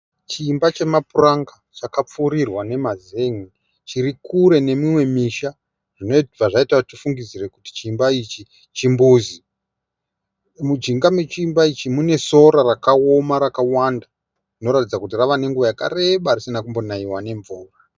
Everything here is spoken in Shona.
Chimba chemapuranga chakapfirirwa nemazenge. Chirikure nemimwe misha zvinoita kuti tifunge kuti chimba ichi chimbuzi. Mujinga me chimba ichi mune sora rakaoma rakawanda zvinoratidza kuti rave nenguvai yakareba risina kumbonaiwa nemvura.